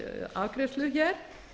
afgreiðslu hér